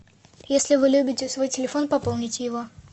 если вы любите свой телефон пополните его